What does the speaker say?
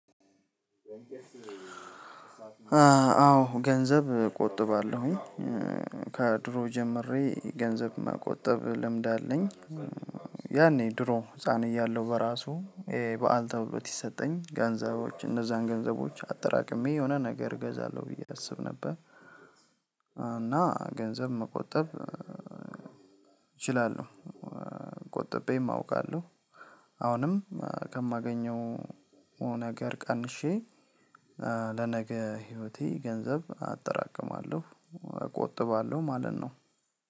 አዎ ገንዘብ ቆጥባለሁኝ ከድሮ ጀምሬ ገንዘብ መቆጠብ ልምድ አለኝ። ያኔ ድሮ ህፃን እያለሁ በራሱ የበአል ተብሎ ቲሰጠኝ ገንዘቦች እነዛን ገንዘቦች አጠራቅሜ የሆነ ነገር እገዛለሁ ብዬ አስብ ነበር። እና ገንዘብ መቆጠብ እችላለሁ ቆጥቤም አውቃለሁ። አሁንም ከማገኘው ነገር ቀንሼ ለነገ ህይወቴ ገንዘብ አጠራቅማለሁ። እቆጥባለሁ ማለት ነው።